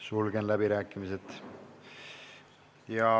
Sulgen läbirääkimised.